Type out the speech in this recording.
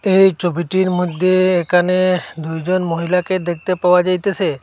এই ছবিটির মধ্যে এখানে দুইজন মহিলাকে দেখতে পাওয়া যাইতাসে।